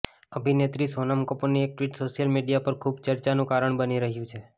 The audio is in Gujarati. અભિનેત્રી સોનમ કપૂરની એક ટ્વીટ સોશિયલ મીડિયા પર ખૂબ ચર્ચાનું કારણ બની રહ્યું છે